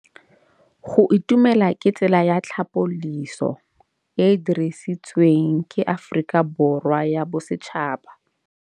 Go itumela ke tsela ya tlhapolisô e e dirisitsweng ke Aforika Borwa ya Bosetšhaba.